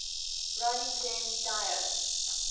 ronnie james dio